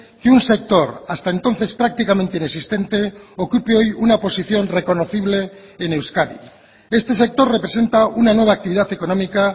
que un sector hasta entonces prácticamente inexistente ocupe hoy una posición reconocible en euskadi este sector representa una nueva actividad económica